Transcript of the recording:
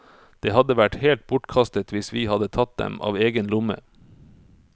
Det hadde vært helt bortkastet hvis vi hadde tatt dem av egen lomme.